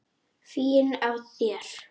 Fín af þér.